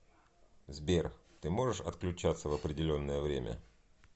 сбер ты можешь отключаться в определенное время